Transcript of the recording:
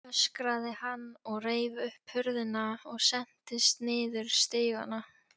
öskraði hann og reif upp hurðina og sentist niður stigana.